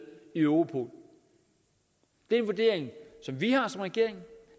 i europol det er en vurdering som vi har som regering